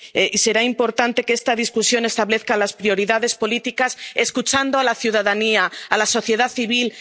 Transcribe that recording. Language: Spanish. será visible. Y será importante que esta discusión establezca las prioridades políticas escuchando a la ciudadanía, a la sociedad